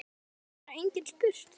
Það hefur bara enginn spurt